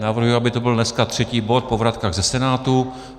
Navrhuji, aby to byl dneska třetí bod po vratkách ze Senátu.